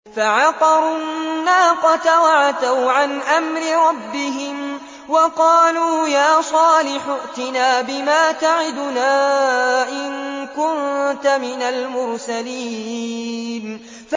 فَعَقَرُوا النَّاقَةَ وَعَتَوْا عَنْ أَمْرِ رَبِّهِمْ وَقَالُوا يَا صَالِحُ ائْتِنَا بِمَا تَعِدُنَا إِن كُنتَ مِنَ الْمُرْسَلِينَ